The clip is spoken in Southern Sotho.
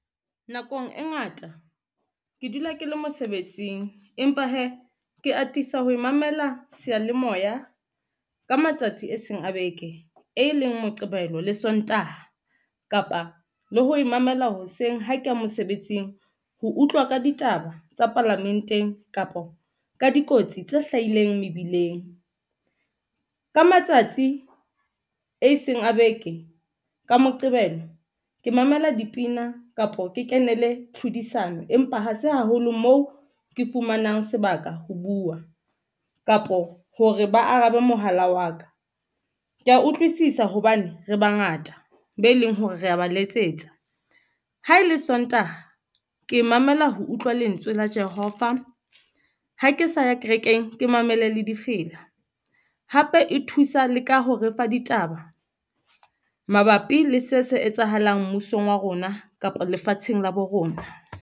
Nakong e ngata ke dula ke le mosebetsing, empa hee ke atisa ho mamela seyalemoya ka matsatsi a seng a beke, e leng Moqebelo le Sontaha kapa le ho e mamela. Hoseng ha ke ya mosebetsing ho utlwa ka ditaba tsa palamenteng kapa ka dikotsi tse hlahileng mebileng ka matsatsi e seng a beke ka Moqebelo. Ke mamela dipina kapa ke kenele tlhodisano empa ha se haholo moo ke fumanang sebaka, ho bua kapo hore ba arabe mohala wa ka. Ke ya utlwisisa hobane re bangata be leng hore re ba letsetsa. Ha e le Sontaha ke mamela ho utlwa lentswe la Jehova. Ha ke sa ya ka renkeng ke mamele le difela. Hape e thusa le ka ho refa ditaba mabapi le se, se etsahalang mmusong wa rona kapa lefatsheng la bo rona.